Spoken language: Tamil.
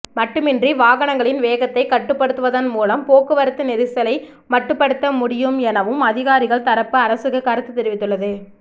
மட்டுமின்றி வாகங்களின் வேகத்தை கட்டுப்படுத்துவதன் மூலம் போக்குவரத்து நெரிசலை மட்டுப்படுத்த முடியும் எனவும் அதிகாரிகள் தரப்பு அரசுக்கு கருத்து தெரிவித்துள்ளது